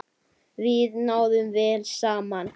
Við náðum vel saman.